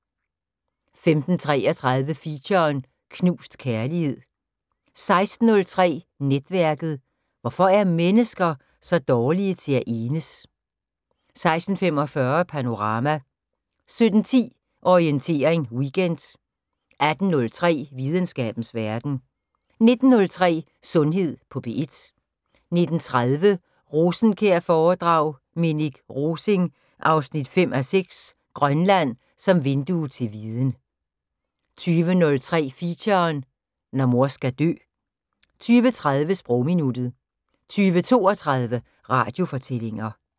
15:33: Feature: Knust kærlighed 16:03: Netværket: Hvorfor er mennesker så dårlige til at enes? 16:45: Panorama 17:10: Orientering Weekend 18:03: Videnskabens Verden 19:03: Sundhed på P1 19:30: Rosenkjær-foredrag: Minik Rosing 5:6 - Grønland som vindue til viden 20:03: Feature: Når mor skal dø 20:30: Sprogminuttet 20:32: Radiofortællinger